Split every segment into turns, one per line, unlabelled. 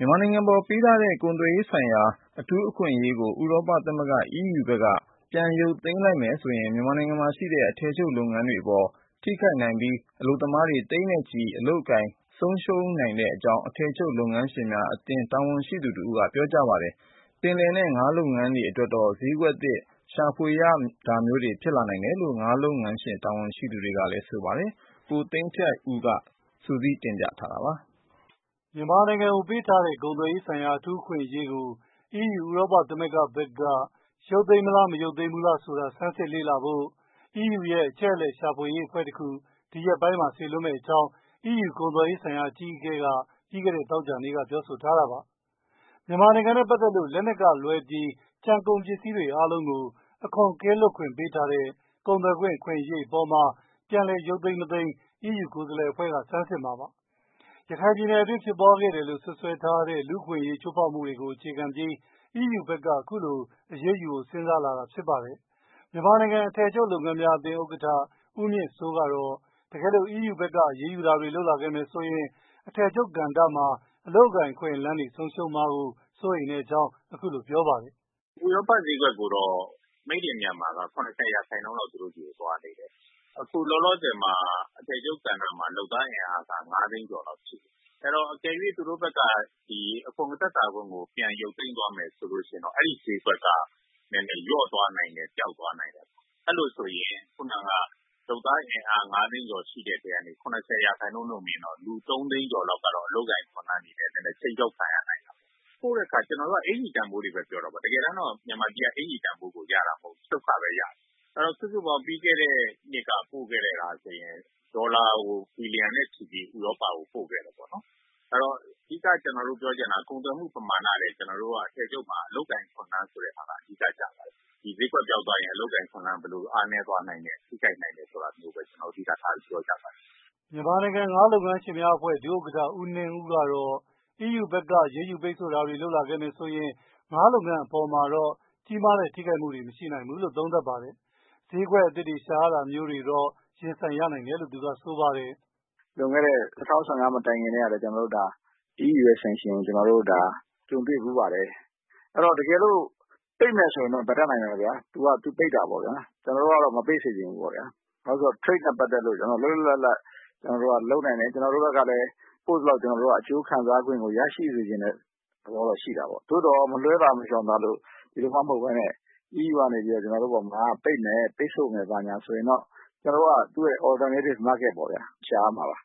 မြန်မာနိုင်ငံအပေါ် ပေးထားတဲ့ ကုန်သွယ်ရေးဆိုင်ရာ အထူး အခွင့်အရေး ဥရောပ သမဂ္ဂ ဘက်က ရုပ်သိမ်းမယ်ဆိုရင် မြန်မာနိုင်ငံမှာရှိတဲ့ အထည်ချုပ် လုပ်ငန်းတွေအပေါ် ထိခိုက်နိုင်ပြီး အလုပ်သမားတွေ သိန်းနဲ့ချီ အလုပ်အကိုင် ဆုံးရှုံးနိုင်တဲ့အကြောင်း အထည်ချုပ်လုပ်ငန်းရှင်များအသင်း တာဝန်ရှိသူတဦးက ပြောဆိုပါတယ်။ ပယ်လယ်နဲ့ ငါးလုပ်ငန်းတွေ အတွက်တော့ ဈေးကွက်သစ် ရှာဖွေရတာမျိုးတွေ ဖြစ်လာနိုင်တယ်လို့ ငါးလုပ်ငန်း တာဝန်ရှိသူတဦးက ပြောပါတယ်။ ကိုသိန်းထိုက်ဦး စုစည်းတင်ပြထားပါတယ်
။ မြန်မာနိုင်ငံကိုပေးထားတဲ့ ကုန်သွယ်ရေးဆိုင်ရာ အထူး အခွင့်အရေးကို ဥရောပ သမဂ္ဂ ဘက်က ရုပ်သိမ်းမလား၊ မရုပ်သိမ်းဘူးလား ဆိုတာ ဆန်းသစ်လေ့လာဖို့ EU ရဲ့ အချက်အလက်ရှာဖွေရေးအဖွဲ့တခု စေလွှတ်မယ့်အကြောင်း အီးယူ ကုန်သွယ်ရေးဆိုင်ရာ အကြီးအကဲ က ပြီးခဲ့တဲ့ သောကြာနေ့က ပြောဆိုထားပါတယ်။ မြန်မာနိုင်ငံနဲ့ ပတ်သက်လို့ လက်နက်ကလွဲပြီး ကျန်ကုန်ပစ္စည်းတွေအားလုံးကို အခွန်ကင်းလွှတ်ခွင့်ပေးထားတဲ့ ကုန်သွယ်ခွင့် အခွင့်အရေးအပေါ်မှာ ပြန်လည်ရုပ်သိမ်းမလား၊ မရုပ်သိမ်းဘူးလား ဒီအဖွဲ့ကဆန်းစစ်မှာပါ။ ရခိုင်ပြည်နယ်အတွင်း ဖြစ်ပွားခဲ့တယ်လို့ စွပ်စွဲထားတဲ့ လူ့အခွင့်အရေးချိုးဖေါက်မှုတွေကို အခြေခံပြီး အီးယူဘက်က အခုလို အရေးယူဖို့ စဉ်းစားလာတာဖြစ်ပါတယ်။ မြန်မာနိုင်ငံ အထည်ချုပ်လုပ်ငန်းရှင်များအသင်း ဥက္ကဋ္ဌ ဦးမြင့်စိုး ကတော့ တကယ်လို့ အီးယူဘက်က အရေးယူတာတွေ လုပ်လာခဲ့မယ်ဆိုရင် အထည်ချုပ်ကဏ္ဍ အလုပ်အကိုင်အခွင့်အလမ်းတွေ ဆုံးရှုံးမှာကို စိုးရိမ်တဲ့အကြောင်း ပြောဆိုပါတယ်
။ "ဥရောပဈေးကွက်ကိုတော့ Made In Myanmar က ၇၀ ရာခိုင်နှုန်းလောက် သူတို့ဆီကို သွားနေတယ်။ အခုလောလောဆယ်မှာ အထည်ချုပ်ကဏ္ဍမှာ လုပ်သားအင်အားက ငါးသိန်းကျော်လောက်ရှိတယ်။ အဲတော့ အကယ်၍သူတို့ဘက်က အခွန်သက်သာခွင့်ကို ပြန်ရုပ်သိမ်းသွားမယ်ဆိုရင်တော့ အဲဒီဈေးကွက်က လျော့သွားနိုင်တယ်။ ပျောက်သွားနိုင်တယ်၊ အဲလို ဆိုရင် ခုဏက လုပ်သားအင်အား ငါးသိန်းကျော် ရှိတဲ့အထဲက ၇၀ ရာခိုင်နှုန်းနဲ့တွက်ရင် လူသုံးသိန်းကျော်လောက်ကတော့ အလုပ်အကိုင်အခွင့်အလမ်းကို ခြိမ်းခြောက်ခံရနိုင်တာပေါ့။ ပို့တဲ့အခါ ကျနော်တို့က အင်္ကျ ီတန်ဖိုးတွေပဲပြောတာ။ တကယ်တမ်းကျ မြန်မာပြည်က အင်္ကျ ီတန်ဖိုးကို ရတာမဟုတ်ဘူး၊ ချုပ်ခပဲရတာ၊ အဲတော့ စုစုပေါင်း ပြီးခဲ့တဲ့နှစ်က ပို့ခဲ့တာဆိုရင် ဒေါ်လာဘီလျံနဲ့ချီပြီး ဥရောပကို ပို့ခဲ့တယ်ပေါ့နော်။ အဓိက ကျနော်တို့ ပြောချင်တာက ကုန်သွယ်မှု ပမာဏထက် အထည်ချုပ်မှာ အလုပ်ကိုင်အခွင့်အလမ်းဆိုတာက အဓိက ကျပါတယ်။ ဒီဈေးကွက်ပျောက်သွားရင် အလုပ်အကိုင်အခွင့်အလမ်းဘယ်လို ဆုံးရှုံးသွားနိုင်တယ်ဆိုတာကိုပဲ အဓိက ထားပြောကြတာပါ
။" မြန်မာနိုင်ငံ ငါးလုပ်ငန်းရှင်များအဖွဲ့ချုပ် ဒုဥက္ကဋ္ဌ ဦးနှင်းဦးကတော့ အီးယူဘက်က အရေးယူပိတ်ဆို့တာတွေ လုပ်လာခဲ့ရင် ငါးလုပ်ငန်းအပေါ် ကြီးမားတဲ့ ထိခိုက်မှုတွေ မရှိနိုင်ဘူးလို့ သုံးသပ်ပါတယ်။ ဈေးကွက်အသစ်တွေကို ရှာဖွေရတာမျိုးတွေ ရင်ဆိုင်ရနိုင်တယ်လို့ ဆိုပါတယ်။ "လွန်ခဲ့တဲ့ ၂၀၁၅ မတိုင်ခင်ကလည်း
EU ရဲ့ Sanction ကို ကျနော်တို့ ကြုံခဲ့ဘူးပါတယ်။ တကယ်လို့ ပိတ်တယ်ဆိုရင်တော့ ဘာတတ်နိုင်မလဲ၊ သူပိတ်တာပေါ့ဗျာ။ ကျနော်တို့ကတော့ မပိတ်စေချင်ဘူးပေါ့ဗျာ။ Trade နဲ့ ပတ်သက်လို့ ကျနော်တို့က လွတ်လွတ်လပ်လပ် လုပ်နိုင်တယ်။ ကျနော်တို့ဘက်ကလည်း ပို့သလောက် အကျိုးစခံစားခွင့်ကိုလည်း ကျနော်တို့က ရချင်တယ်။ သို့သော် မလွဲသာ မရှောင်သာ ပိတ်မယ်၊ EU ဘက်က ပိတ်ဆို့မယ်ဆိုရင် Alternative Market ပေါ့ဗျာ၊ ရှာရမှာပါ၊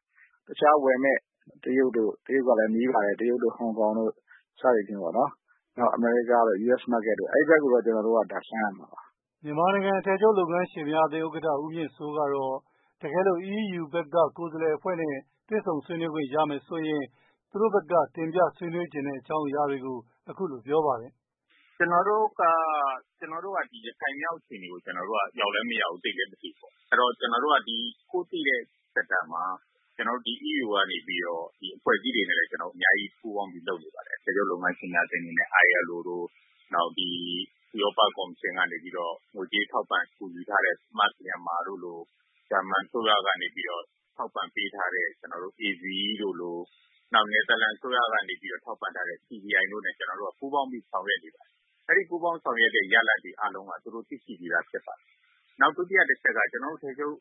တခြားလာမယ့် တရုတ်တို့၊ တရုတ်ကလည်း နီးပါတယ်။ တရုတ်တို့ ဟောင်ကောင်တို့ စသည်ဖြင့်ပေါ့နော်၊ နောက် အမေရိကား US Market အဲဒီဘက်ကို ကျနော်တို့ လှမ်းရမှာပါ
။" မြန်မာနိုင်ငံ အထည်ချုပ်လုပ်ငန်းရှင်များအသင်း ဥက္ကဋ္ဌ ဦးမြင့်စိုး ကတော့ တကယ်လို့ အီးယူဘက်က ကိုယ်စားလှယ်တွေနဲ့ တွေ့ဆုံဆွေးနွေးခွင့်ရမယ်ဆိုရင် သူတို့ဘက်က ဆွေးနွေးမယ့် အကြောင်းအရာတွေကို အခုလို ပြောပါတယ်။ "ကျနော်တို့
က ရခိုင်မြောက် အခြေအနေကို ရောက်လည်း မရောက်ဘူး၊ သိလည်း မသိဘူးပေါ့၊ အဲတော့ ကျနော်တို့က ကိုသိတဲ့ Sector မှာ ကျနော်တို့ ဒီ EU က အဖွဲ့အစည်းတွေနဲ့ အများကြီးပူးပေါင်းပြီး လုပ်နေပါတယ်။ အထည်ချုပ်လုပ်ငန်းရှင်များအသင်းအနေနဲ့ ILO လို၊ နောက် ဥရောပကော်မရှင်က ငွေကြေးထောက်ပံ့ကူညီထားတဲ့ Smart Myanmar တို့လို၊ ဂျာမနီအစိုးရက ထောက်ပံ့ပေးထားတဲ့ AVE တို့လို၊ နယ်သာလန်အစိုးရက ထောက်ပံ့ထားတဲ့ CDI တို့နဲ့ ကျနော်တို့ ပူးပါင်းပြီး ဆောင်ရွက်နေပါတယ်။ ဒီလို ပူးပေါင်းပြီး ဆောင်ရွက်တဲ့ ရလဒ်အားလုံးကို သူတို့ သိရှိပြီးသားဖြစ်ပါတယ်။ နောက် ဒုတိယ တချက်က ကျနော်တို့ အထည်ချုပ်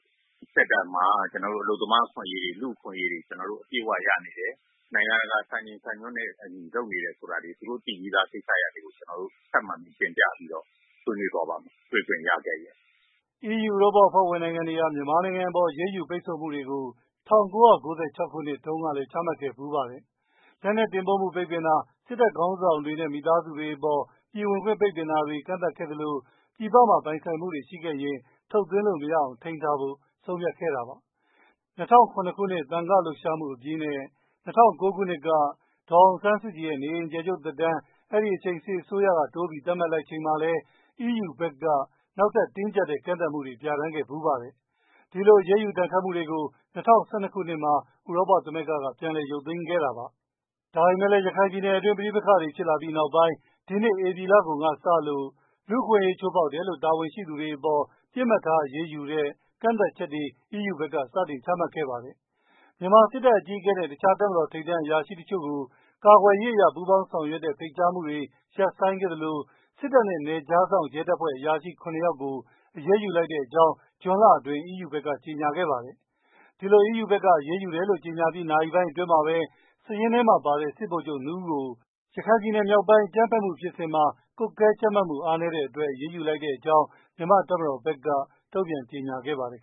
Sector မှာ အလုပ်သမားအခွင့်အရေးတွေ အပြည့်အဝရနေတယ်။ နိုင်ငံတကာ စံချိန်စံညွှန်းတွေနဲ့ အညီ လုပ်နေတယ်ဆိုတာတွေကို သူတို့ သိပြီးသားကိစ္စတွေကို တင်ပြဆွေးနွေးသွားပါ့မယ်။ တွေ့ခွင့်ရခဲ့ရင်
။" အီးယူ ဥရောပ အဖွဲ့ဝင်နိုင်ငံတွေဟာ မြန်မာနိုင်ငံအပေါ် အရေးယူပိတ်ဆို့မှုတွေကို ၁၉၉၆ ခုနှစ်တုန်းကလည်း ချမှတ်ခဲ့ဘူးပါတယ်။ လက်နက်တင်ပို့မှု ပိတ်ပင်တာ၊ စစ်တပ် ခေါင်းဆောင်တွေနဲ့ မိသားစုတွေအပေါ် ပြည်ဝင်ခွင့် ပိတ်ပင်တာတွေ ကန့်သတ်ခဲ့သလို၊ ပြည်ပမှာ ပိုင်ဆိုင်မှုတွေ ရှိခဲ့ရင် ထုတ်သွင်းခွင့် မရအောင် ထိန်းထားဖို့ ဆုံးဖြတ်ခဲ့တာပါ။ ၂၀၀၇ ခုနှစ် သံဃာ့လှုပ်ရှားမှုအပြီးနဲ့ ၂၀၀၉ ခုနှစ်က ဒေါ်အောင်ဆန်းစုကြည်ရဲ့ နေအိမ်အကျယ်ချုပ်သက်တမ်း အဲဒီအချိန် စစ်အစိုးရက တိုးပြီးသတ်မှတ်ချိန်မှာလည်း အီးယူဘက်က နောက်ထပ် တင်းကြပ်တဲ့ ကန့်သတ်မှုတွေ ပြဌာန်းခဲ့ဖူးပါတယ်။ ဒီလို အရေးယူဒဏ်ခတ်မှုတွေကို ၂၀၁၂ ခုနှစ်မှာ ဥရောပ သမဂ္ဂက ပြန်ရုပ်သိမ်းခဲ့တာပါ။ ဒါပေမဲ့လည်း ရခိုင်ပြည်နယ်အတွင်း ပဋိပက္ခဖြစ်လာပြီးနောက်ပိုင်း ဒီနှစ် ဧပြီလကုန်ကစလို့ လူ့အခွင့်အရေးချိုးဖေါက်တယ်လို့ တာဝန်ရှိသူတွေအပေါ် ပြစ်မှတ်ထား အရေးယူတဲ့ ကန့်သတ်ချက်တွေ စတင်ချမှတ်ခဲ့ပါတယ်။ မြန်မာစစ်တပ်အကြီးအကဲနဲ့ တခြားတပ်မတော် ထိပ်တန်းအရာရှိတချို့ကို ကာကွယ်ရေးအရ ပူးပေါင်းဆောင်ရွက်တဲ့ ဖိတ်ကြားမှုတွေ ရပ်ဆိုင်းခဲ့သလို စစ်တပ်နဲ့ နယ်ခြားစောင့် ရဲတပ်ဖွဲ့ အရာရှိ ရ ယောက်ကို အရေးယူလိုက်ကြောင်း ဇွန်လအတွင်းမှာ ကြေညာခဲ့ပါတယ်။ ဒီလို အီးယူဘက်က အရေးယူတယ်လို့ ကြေညာပြီး နာရီပိုင်းအတွင်းမှာပဲ စာရင်းထဲမှာပါတဲ့ စစ်ဗိုလ်ချုပ် ၂ ဦးကို ရခိုင်ပြည်နယ်မြောက်ပိုင်း အကြမ်းဖက်မှုဖြစ်စဉ်မှာ ကွပ်ကဲကြပ်မတ်မှု အားနည်းတဲ့အတွက် အရေးယူလိုက်တဲ့အကြောင်း မြန်မာ့တပ်မတော်ဘက်က တုံ့ပြန်ကြေညာခဲ့ပါတယ်